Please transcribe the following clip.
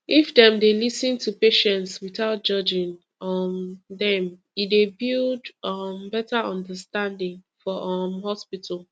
if dem dey lis ten to patients without judging um them e dey build um better understanding for um hospital